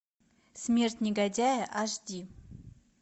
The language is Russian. смерть негодяя аш ди